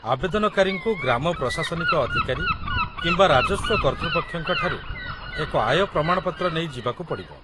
ଆବେଦନକାରୀଙ୍କୁ ଗ୍ରାମ ପ୍ରଶାସନିକ ଅଧିକାରୀ କିମ୍ବା ରାଜସ୍ୱ କର୍ତ୍ତୃପକ୍ଷଙ୍କ ଠାରୁ ଏକ ଆୟ ପ୍ରମାଣପତ୍ର ନେଇ ଯିବାକୁ ପଡ଼ିବ